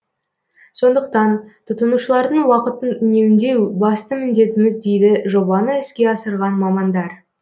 сондықтан тұтынушылардың уақытын үнемдеу басты міндетіміз дейді жобаны іске асырған мамандар